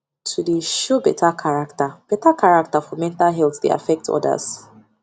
to dey show better character better character for mental health dey affect others